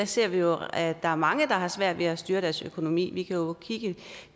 ser vi jo at der er mange der har svært ved at styre deres økonomi vi kan jo kigge